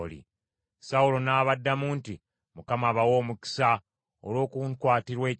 Sawulo n’abaddamu nti, “ Mukama abawe omukisa, olw’okunkwatirwa ekisa.